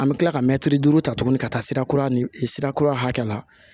An bɛ kila ka mɛtiri duuru ta tuguni ka taa sira kura ni sira kura hakɛ la